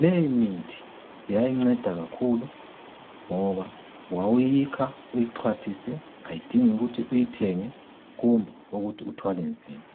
Leyimithi yayinceda kakhulu ngoba wawuyikha uyixwathise ayidingi ukuthi ukuthi uyithenge kumbe ukuthi uthwale nzima.